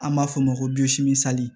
An b'a f'o ma ko sali